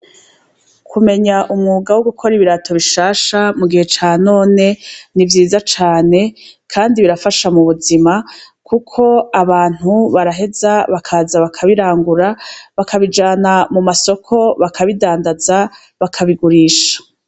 Kumenya umwuga wo gukora ibirato bishasha, mu gihe ca none, ni vyiza cane, kandi birafasha mu buzima, kuko abantu baraheza bakaza bakabirangura, bakabijana mu masoko, bakabidandaza, bakabigurisha.